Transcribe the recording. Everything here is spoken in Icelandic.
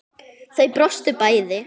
Þau brostu bæði.